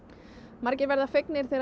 margir verða fegnir þegar